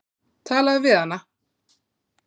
Talaðu við hana.